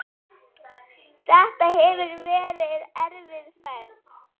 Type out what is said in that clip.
Þetta hefur verið erfið ferð.